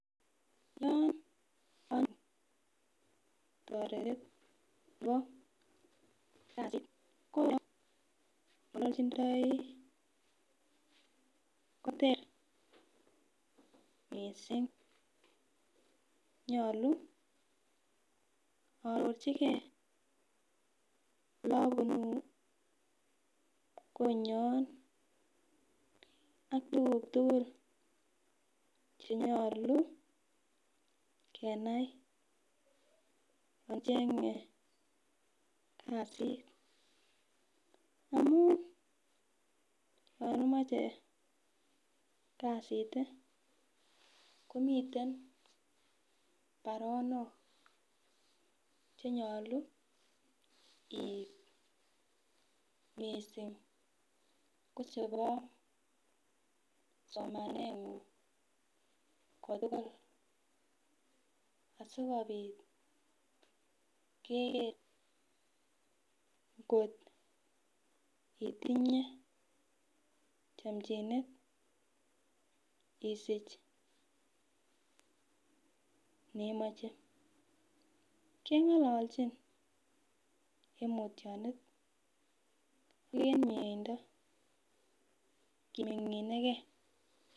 Yon kanoru toretindetab kasit, koter missing konyolu aarochike oleabunu, konyon ak tuguk tuugul chenyolu kenai ,acheng'ee kasit amun yon imoche kasit komiten baronok chenyolu keip missing kocheboo somaneng'ung asikobit keker ngot itnye chomnjinet isich kit neimoche, keng'ololchin en mutyonet ak en mieindoo kiming'inegee.